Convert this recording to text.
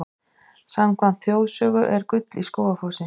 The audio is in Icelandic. Samkvæmt þjóðsögu er gull í Skógafossi.